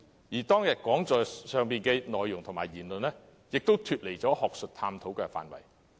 此外，當天講座的內容和言論，也超出了學術探討範圍。